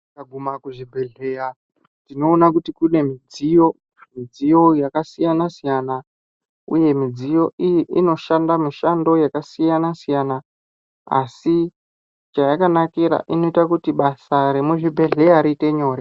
Ndikaguma kuchibhedhleya ndinoona kuti kune midziyo, midziyo yakasiyana siyana uye midziyo iyi inoshanda mishando yakasiyana siyana asi chayakanakira inoita kuti basa remuzvibhedhleya riite nyore.